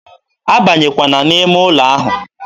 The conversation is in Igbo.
a banyekwala n'ime ụlọ ahụ!